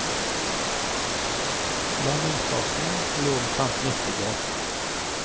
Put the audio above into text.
Landingsplassen lå omtrent midt i gaten.